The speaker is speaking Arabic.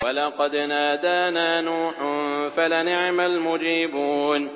وَلَقَدْ نَادَانَا نُوحٌ فَلَنِعْمَ الْمُجِيبُونَ